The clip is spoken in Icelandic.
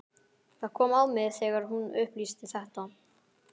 Það kom á mig þegar hún upplýsti þetta.